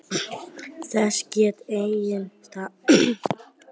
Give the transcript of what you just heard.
Þessu gat enginn svarað og spunnust af langar umræður.